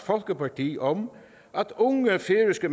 folkeparti om at unge færøske